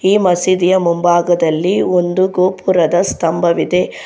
ಈ ಮಸೀದಿಯ ಮುಂಭಾಗದಲ್ಲಿ ಒಂದು ಗೋಪುರದ ಸ್ತಂಭವಿದೆ.